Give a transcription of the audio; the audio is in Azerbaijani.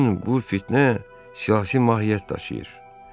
Bütün bu siyasi mahiyyət daşıyır.